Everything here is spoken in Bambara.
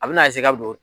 A bɛna ka don